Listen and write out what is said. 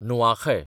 Nuakhai